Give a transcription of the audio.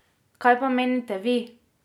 Kaj pa menite vi?